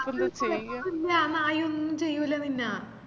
അത് കൊയപ്പൊന്നുല്ല ആ നായൊന്നും ചെയ്യൂല്ല നിന്ന